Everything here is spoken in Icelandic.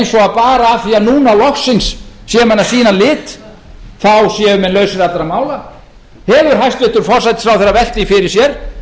af því að núna loksins séu menn að sýna lit þá séu menn lausir allra mála hefur hæstvirtur forsætisráðherra velt því fyrir sér